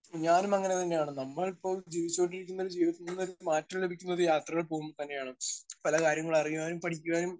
Speaker 1 ഞാനും അങ്ങനെതന്നെ ആണ്. നമ്മൾ ഇപ്പോ ജീവിച്ചുകൊണ്ടിരിക്കുന്ന ജീവിതത്തിൽ നിന്നൊരു മാറ്റം ലഭിക്കുന്നത് യാത്രകൾ പോകുമ്പോ തന്നെ ആണ്. പല കാര്യങ്ങളും അറിയാനും പഠിക്കുവാനും